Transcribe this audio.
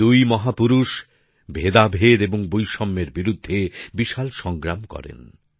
এই দুই মহাপুরুষ ভেদাভেদ এবং বৈষম্যের বিরুদ্ধে বিশাল সংগ্রাম করেন